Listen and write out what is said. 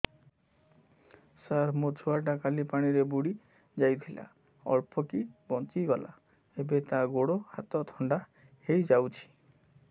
ସାର ମୋ ଛୁଆ ଟା କାଲି ପାଣି ରେ ବୁଡି ଯାଇଥିଲା ଅଳ୍ପ କି ବଞ୍ଚି ଗଲା ଏବେ ତା ଗୋଡ଼ ହାତ ଥଣ୍ଡା ହେଇଯାଉଛି